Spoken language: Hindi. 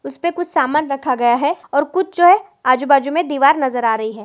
उस पे कुछ सामान रखा गया है और कुछ जो है आजू- बाजू में दिवार नज़र आ रही है।